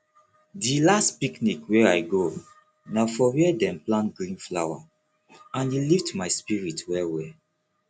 di last picnic wey i go na for where dem plant green flower and e lift my spirit well well